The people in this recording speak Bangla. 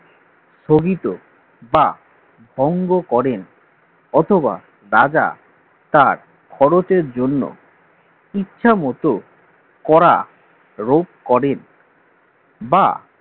স্থগিত বা ভঙ্গ করেন অথবা রাজা তার খরচের জন্য ইচ্ছে মত করা রোপ করেন বা